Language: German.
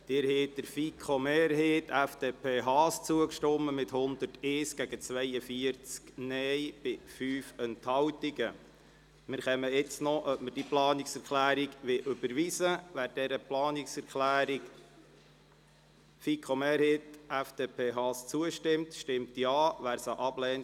Bei einer Ablehnung der Volksabstimmung zur Steuergesetzrevision 2019 am Sonntag, 25.11.2018 ändern die Zahlen des Voranschlags 2019 wie folgt: